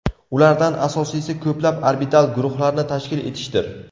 Ulardan asosiysi ko‘plab orbital guruhlarni tashkil etishdir.